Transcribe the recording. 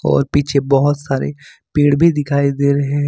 और पीछे बहोत सारे पेड़ भी दिखाई दे रहे हैं।